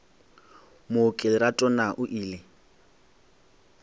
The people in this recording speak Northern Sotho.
mooki lerato na o ile